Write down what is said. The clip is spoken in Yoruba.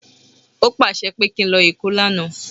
O pàṣẹ pé kí n lọ èkó lánàá